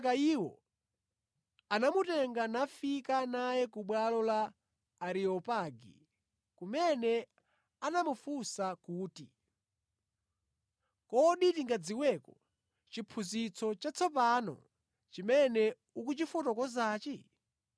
Kenaka iwo anamutenga nafika naye ku bwalo la Areopagi kumene anamufunsa kuti, “Kodi tingadziweko chiphunzitso chatsopano chimene ukuchifotokozachi?